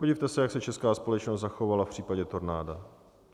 Podívejte se, jak se česká společnost zachovala v případě tornáda.